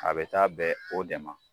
A bɛ taa bɛn o de ma.